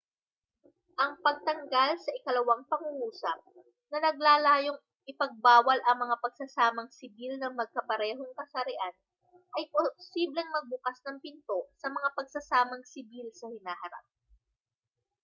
ang pagtanggal sa ikalawang pangungusap na naglalayong ipagbawal ang mga pagsasamang sibil ng magkaparehong kasarian ay posibleng magbukas ng pinto sa mga pagsasamang sibil sa hinaharap